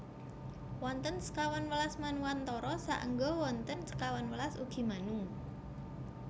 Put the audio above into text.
Wonten sekawan welas Manwantara saengga wonten sekawan welas ugi Manu